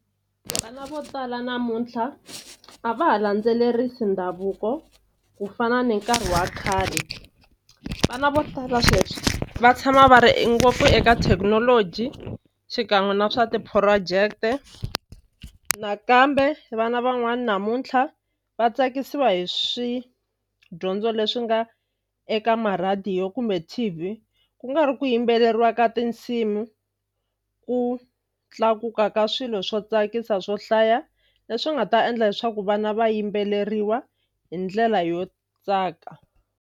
Vana vo tala namuntlha a va ha landzelerisi ndhavuko ku fana ni nkarhi wa khale vana vo tala sweswi va tshama va ri e ngopfu eka thekinoloji xikan'we na swa ti-project-e nakambe vana van'wani namuntlha va tsakisiwa hi swidyondzo leswi nga eka marhadiyo kumbe T_V ku nga ri ku yimbeleriwa ka tinsimu ku tlakuka ka swilo swo tsakisa swo hlaya leswi nga ta endla leswaku vana va yimbeleriwa hi ndlela yo tsaka.